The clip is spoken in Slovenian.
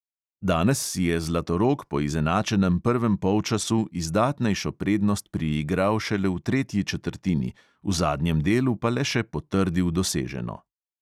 Danes si je zlatorog po izenačenem prvem polčasu izdatnejšo prednost priigral šele v tretji četrtini, v zadnjem delu pa le še potrdil doseženo.